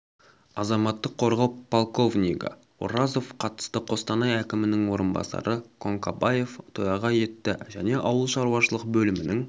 азаматтық қорғау полковнигі оразов қатысты қостанай әкімінің орынбасары конкабаев төраға етті және ауыл шаруашылық бөлімнің